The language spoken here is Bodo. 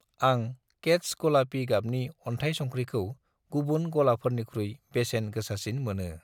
आं केत्च गलापि गाबनि अन्थाइ संख्रिखौ गुबुन गलाफोरनिख्रुइ बेसेन गोसासिन मोनो।